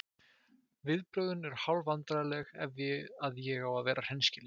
Viðbrögðin eru hálf vandræðaleg ef að ég á að vera hreinskilinn.